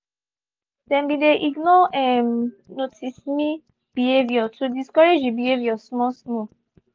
them been dey ignore um notice-me behaviour to discourage the behaviour small small